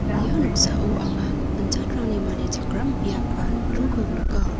ia noksao anga gipin jatrangni manichakram biap ba nokdringko nika.